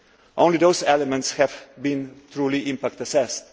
Only those elements have been truly impact assessed.